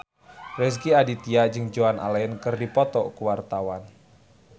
Rezky Aditya jeung Joan Allen keur dipoto ku wartawan